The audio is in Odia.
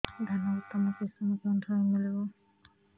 ଧାନର ଉତ୍ତମ କିଶମ କେଉଁଠାରୁ ମିଳିବ